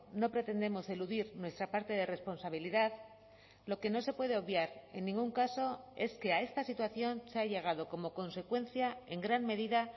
no pretendemos eludir nuestra parte de responsabilidad lo que no se puede obviar en ningún caso es que a esta situación se ha llegado como consecuencia en gran medida